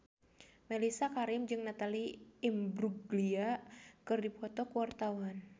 Mellisa Karim jeung Natalie Imbruglia keur dipoto ku wartawan